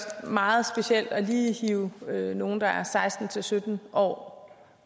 meget specielt lige at hive nogle der er seksten til sytten år